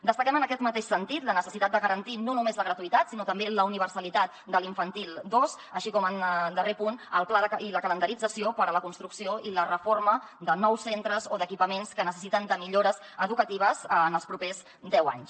destaquem en aquest mateix sentit la necessitat de garantir no només la gratuïtat sinó també la universalitat de l’infantil dos així com en darrer punt el pla i la calendarització per a la construcció i la reforma de nous centres o d’equipaments que necessiten millores educatives en els propers deu anys